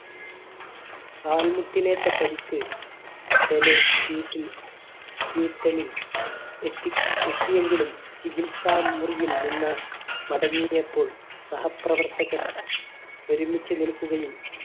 കാൽമുട്ടിനേറ്റ പരിക്ക് Pele seat ൽ എത്തി എത്തിയെങ്കിലും ചികിത്സ മുറിയിൽ നിന്ന് മടങ്ങിയപ്പോൾ സഹപ്രവർത്തകൻ ഒരുമിച്ച് നിൽക്കുകയും